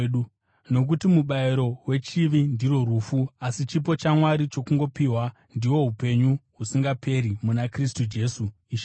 Nokuti mubayiro wechivi ndirwo rufu, asi chipo chaMwari chokungopiwa ndihwo upenyu husingaperi muna Kristu Jesu Ishe wedu.